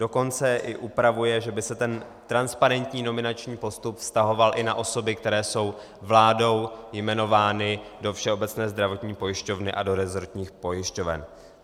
Dokonce i upravuje, že by se ten transparentní nominační postup vztahoval i na osoby, které jsou vládou jmenovány do Všeobecné zdravotní pojišťovny a do resortních pojišťoven.